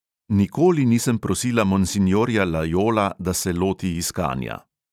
Nikoli nisem prosila monsinjorja lajola, da se loti iskanja.